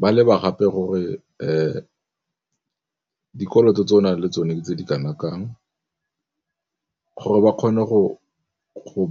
ba leba gape gore dikoloto tse o nang le tsone tse di kana kang gore ba kgone go